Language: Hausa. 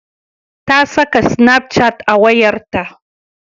Ta saka snapchat a wayarta.